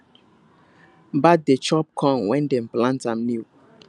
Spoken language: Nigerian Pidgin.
bird dey chop corn when dem plant am new